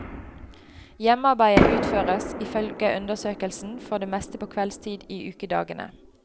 Hjemmearbeidet utføres, ifølge undersøkelsen, for det meste på kveldstid i ukedagene.